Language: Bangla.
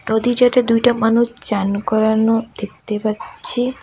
নদী চটে দুইটা মানুষ চান করানো দেখতে পাচ্ছি।